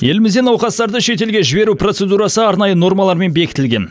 елімізде науқастарды шетелге жіберу процедурасы арнайы нормалармен бекітілген